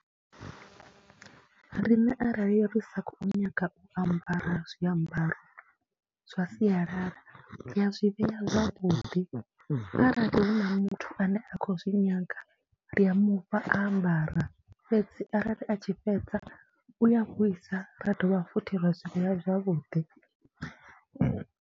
Riṋe arali ri sa khou nyaga u ambara zwiambaro zwa sialala ri a zwi vhea zwavhuḓi, arali hu na muthu ane a khou zwi nyaga ndi a mu fha a ambara fhedzi arali a tshi fhedza u a vhuisa ra dovha futhi ra zwi vheya zwavhuḓi.